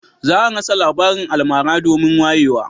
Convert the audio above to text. Za a rasa labarin almara domin wayewa